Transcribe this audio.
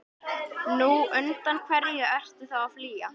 Nú, undan hverju ertu þá að flýja?